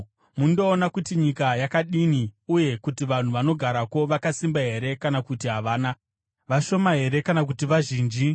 Mundoona kuti nyika yakadini uye kuti vanhu vanogarako vakasimba here kana kuti havana, vashoma here kana kuti vazhinji.